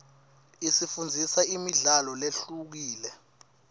isifundzisa imidlalo lehlukile